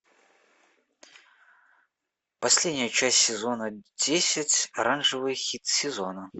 последняя часть сезона десять оранжевый хит сезона